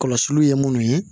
Kɔlɔsiliw ye munnu ye